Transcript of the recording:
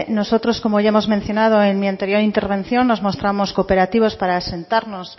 nosotros como ya hemos mencionado en mi anterior intervención nos mostramos cooperativos para sentarnos